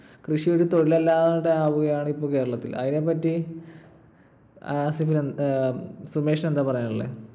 കൃഷി ഒരു തൊഴിൽ അല്ലാതെ ആവുകയാണ് ഇപ്പോൾ കേരളത്തിൽ. അതിനെപ്പറ്റി സുമേഷിന് എന്താ പറയാനുള്ളേ?